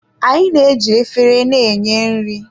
Anyị na-eji efere na-enye nri.